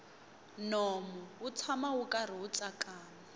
nomu wu tshama wu karhi wu tsakama